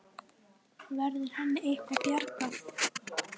Verður henni eitthvað bjargað?